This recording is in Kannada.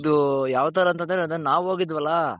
ಇದು ಯಾವ್ ತರ ಅಂತಂದ್ರೆ ಅದೇ ನಾವ್ ಹೋಗಿದ್ವಲ್ಲಾ